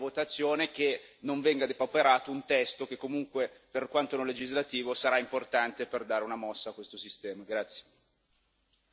Spero, ripeto, che nella votazione non venga depauperato un testo che comunque, per quanto non legislativo, sarà importante per dare una mossa a questo sistema.